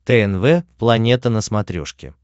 тнв планета на смотрешке